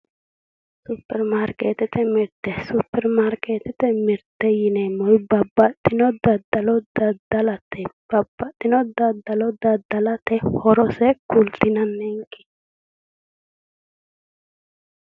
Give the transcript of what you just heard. Superimarkeettete mirte superimarkeettete mirte yineemmori babbaxxino daddalo daddalate Babbaxxino daddalo daddalate horose kultinanninke?